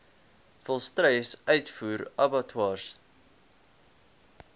volstruis uitvoer abattoirs